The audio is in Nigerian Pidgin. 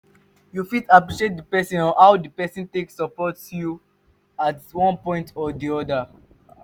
you fit appreciate di person on how di person take support you at one point or di oda